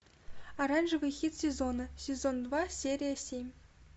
оранжевый хит сезона сезон два серия семь